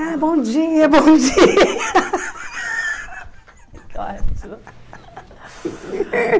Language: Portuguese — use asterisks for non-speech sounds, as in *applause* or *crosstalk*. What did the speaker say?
Ah, bom dia, bom dia. *laughs*